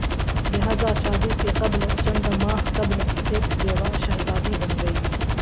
لہذا شادی سے قبل چند ماہ قبل ایک بیوہ شہزادی بن گئی